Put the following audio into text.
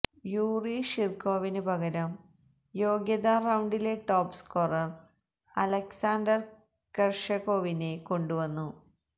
Yuri ഷിര്കോവിന് പകരം യോഗ്യതാ റൌണ്ടിലെ ടോപ്സ്കോറര് അലക്സാണ്ടര് കെര്ഷകോവിനെ കൊണ്ടുവന്നു